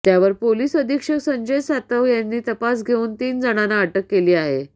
त्यावर पोलीस अधीक्षक संजय सातव यांनी तपास घेऊन तीन जणांना अटक केली आहे